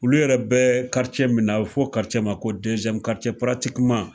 Olu yɛrɛ bɛ min na, a bi fɔ ma ko